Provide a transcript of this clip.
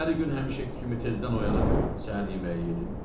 Səhəri gün həmişəki kimi tezdən oyanıb səhər yeməyi yedim.